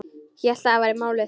Hélt að það væri málið.